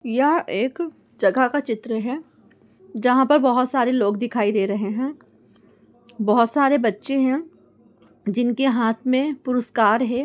यह एक जगह का चित्र है जहाँ पर बहुत सारे लोग दिखाई दे रहे है बहुत सारे बच्चे है जिनके हाथ मे पुरुस्कार है।